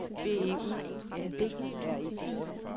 B E U N D R E